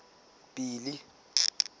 billy